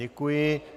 Děkuji.